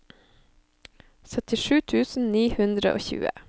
syttisju tusen ni hundre og tjue